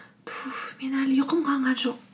туф мен әлі ұйқым қанған жоқ